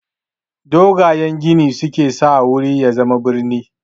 Dogayen gini su ke sa wuri ya zama brini.